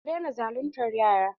Ku daina zaluntar yara!